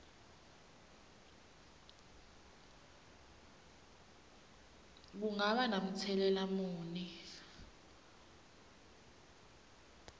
kungaba namtselela muni